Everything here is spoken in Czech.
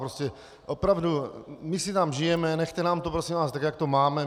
Prostě opravdu, my si tam žijeme, nechte nám to, prosím vás, tak jak to máme.